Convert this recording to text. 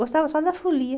Gostava só da folia.